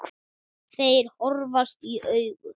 Þeir horfast í augu.